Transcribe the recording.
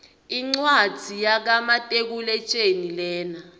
incwadzi yaka matekuletjelii lena